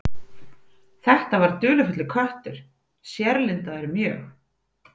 Þetta var dularfullur köttur, sérlundaður mjög.